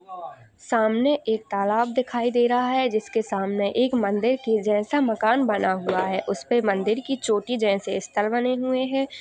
सामने एक तालाब दिखाई दे रहा है जिसके सामने एक मंदिर के जैसा मकान बना हुआ है उसपे मंदिर की छोटी जैसे स्तर बने हुए हैं ।